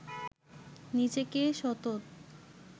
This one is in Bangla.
নিজেকে সতত